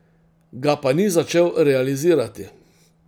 Ga pa ni začel realizirati.